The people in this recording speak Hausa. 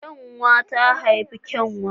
Kyanwa ta haifi kyanwa